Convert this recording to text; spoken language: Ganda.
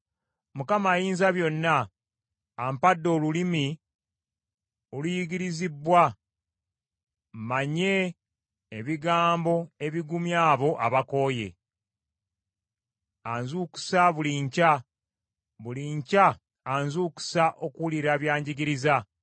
Mukama Ayinzabyonna ampadde olulimi oluyigirizibbwa, mmanye ebigambo ebigumya abo abakooye. Anzukusa buli nkya, buli nkya anzukusa okuwulira by’anjigiriza.